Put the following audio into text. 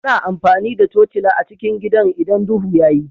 Ana amfani da tocila a cikin gidan idan duhu ya yi